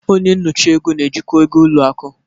Onye nyocha ego na-ejikwa ego ụlọ akụ.